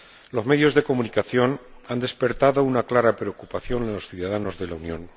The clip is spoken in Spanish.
Los medios de comunicación han despertado una clara preocupación en los ciudadanos de la Unión.